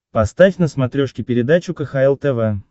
поставь на смотрешке передачу кхл тв